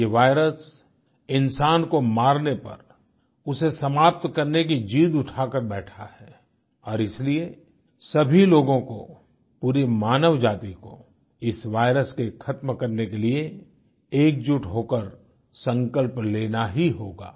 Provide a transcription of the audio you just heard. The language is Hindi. ये वायरस इंसान को मारने पर उसे समाप्त करने की जिद उठाकर बैठा है और इसीलिए सभी लोगों को पूरी मानवजाति को इस वायरस के ख़त्म करने के लिए एकजुट होकर संकल्प लेना ही होगा